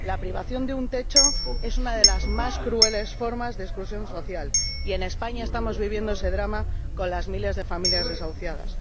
la privación de un techo es una de las más crueles formas de exclusión social ―y en España estamos viviendo ese drama con los miles de familias desahuciadas―.